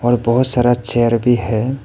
और बहुत सारा चेयर भी है।